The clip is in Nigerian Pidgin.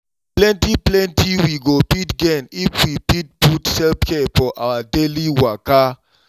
plenty plenty we go fit gain if we fit put self-care for our daily waka